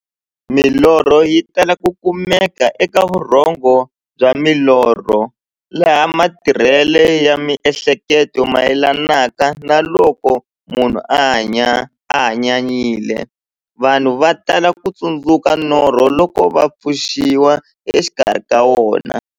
Milorho yi tala ku kumeka eka vurhongo bya milorho, laha matirhele ya mi'hleketo mayelanaka na loko munhu a hanyanyile. Vanhu va tala ku tsundzuka norho loko va pfuxiwa exikarhi ka wona.